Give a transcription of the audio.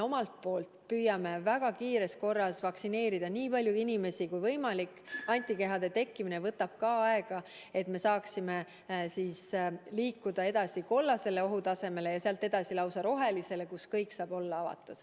Me püüame väga kiires korras vaktsineerida nii palju inimesi kui võimalik – antikehade tekkimine võtab ka aega –, et me saaksime siis liikuda edasi kollasele ohutasemele ja sealt edasi lausa rohelisele, kus kõik saab olla avatud.